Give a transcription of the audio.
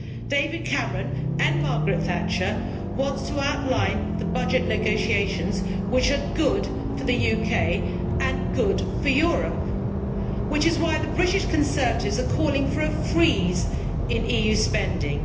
David Cameron like Margaret Thatcher wants to outline the budget negotiations which are good for the UK and good for Europe, which is why the British Conservatives are calling for a freeze in EU spending.